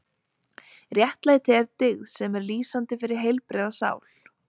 Réttlæti er dyggð sem er lýsandi fyrir heilbrigða sál.